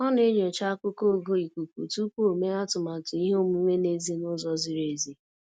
Ọ na-enyocha akụkọ ogo ikuku tupu o mee atụmatụ ihe omume n'èzí n'ụzọ ziri ezi